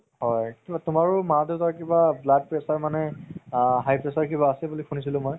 হয় তুমাৰও মা দেউতাৰ কিবা blood pressure মানে আ high pressure কিবা আছে বুলি শুনিছিলো মই